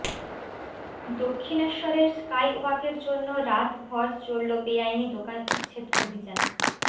দক্ষিণেশ্বরের স্কাইওয়াকের জন্য রাতভর চলল বেআইনি দোকান উচ্ছেদ অভিযান